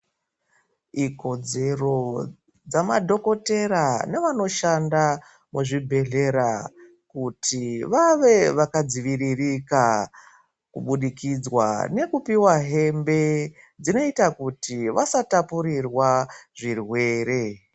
Ikodzero dza madhokotera ne vanoshanda mu zvibhedhlera kuti vave vaka dziviririka ku budikidzwa neku piwa hembe dzinoita kuti vasa tapurirwa zvirwere.